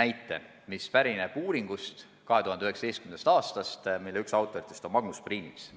näite, mis pärineb 2019. aasta uuringust, mille üks autor on Magnus Piirits.